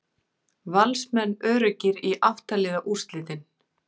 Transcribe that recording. Valsmenn öruggir í átta liða úrslitin